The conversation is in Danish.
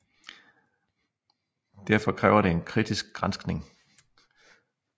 Derfor kræver det en kritisk granskning